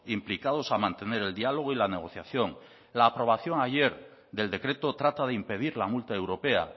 implicados a mantener el diálogo y la negociación la aprobación ayer del decreto trata de impedir la multa europea